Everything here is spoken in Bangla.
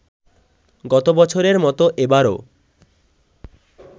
গত বছরের মতো এবারও